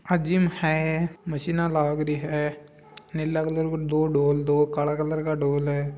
या जिम है मशीन लागरी है नीले कलर की दो ढोल है काला कलर का ढोल है।